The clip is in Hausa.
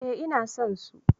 Eh ina son su.